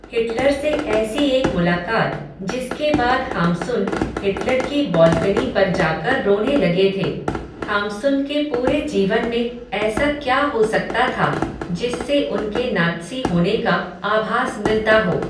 Hitler से ऐसी एक मुलाकात, जिसके बाद हाम्सुन, हिटलर की बॉल्कनी पर जाकर रोने लगे थे, हाम्सुन के पूरे जीवन में, ऐसा क्या हो सकता था, जिससे उनके नात्सी होने का आभास मिलता हो